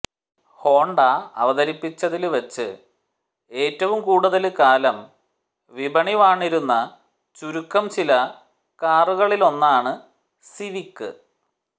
Honda അവതരിപ്പിച്ചതില് വച്ച് ഏറ്റവും കൂടുതല് കാലം വിപണി വാണിരുന്ന ചുരുക്കം ചില കാറുകളിലൊന്നാണ് സിവിക്